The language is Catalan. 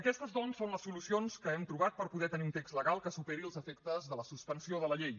aquestes doncs són les solucions que hem trobat per poder tenir un text legal que superi els efectes de la suspensió de la llei